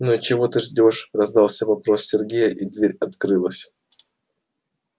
ну и чего ты ждёшь раздался вопрос сергея и дверь открылась